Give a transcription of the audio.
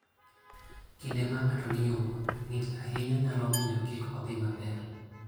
Kinde ma ng'ato nie wuoth, ng'ich ahinya nyalo miyo kik odhi maber.